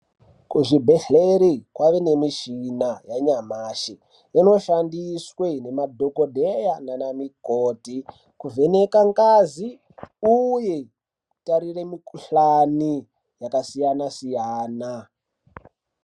Kuzvibhehleri kwava ne mushina yanyamashi inoshandiswe namadhokodheya nanamukoti kuvheneka ngazi uye kutarire mukuhlani yakasiyana siyana.